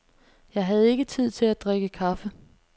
Jeg havde ikke tid til at drikke kaffe.